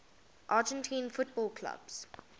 argentine football clubs